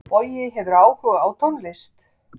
Bogi hefur áhuga á tónlist.